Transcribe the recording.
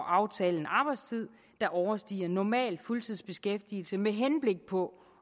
aftale en arbejdstid der overstiger normal fuldtidsbeskæftigelse med henblik på